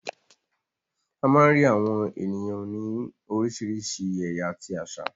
A má ń rí àwọn ènìyàn òní oríṣiríṣi ẹ̀yà àti àṣà.